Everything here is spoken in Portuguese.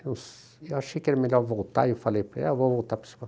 Eu achei que era melhor voltar e falei para ele, '' ah, vou voltar para o São Paulo''.